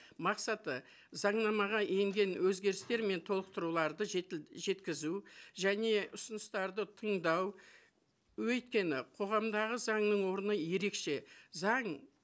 мақсаты заңнамаға енген өзгерістер мен толықтыруларды жеткізу және ұсыныстарды тыңдау өйткені қоғамдағы заңның орны ерекше заң